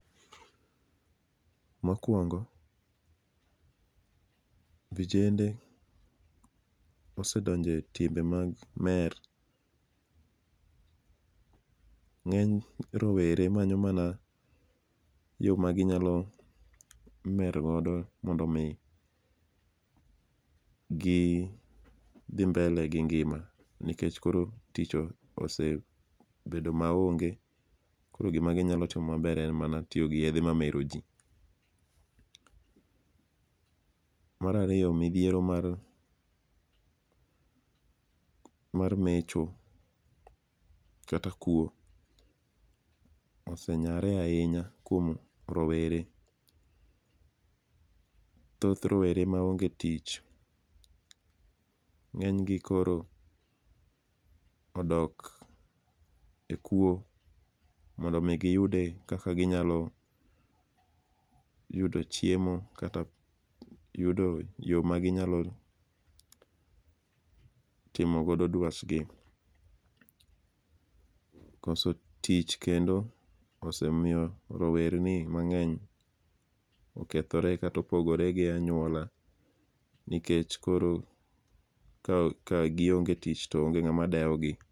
Mokwongo, vijende osedonje timbe mag mer. Ng'eny rowere manyo mana yo ma ginyalo mer godo mondo mi gi dhi mbele gi ngima nikech koro tich osebedo ma onge. Koro gima ginyalo timo maber en mana tiyo gi yedhe mamero ji. Mar ariyo, midhiero mar mecho kata kuo ose nyare ahinya kuom rowere. Thoth rowere ma onge tich, ng'eny gi koro odok e kuo mondo mi giyude kaka ginyalo yudo chiemo kata yudo yo maginyalo timogodo dwach gi. Koso tich kendo osemiyo rowerni mang'eny okethore kata opogore gi anyuola nikech koro ka gionge tich to onge ng'ama dewo gi.